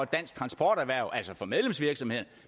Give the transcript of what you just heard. danske transporterhverv altså for medlemsvirksomheder